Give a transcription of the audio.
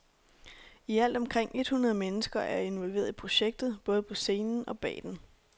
I alt omkring et hundrede mennesker er involveret i projektet, både på scenen og bag den.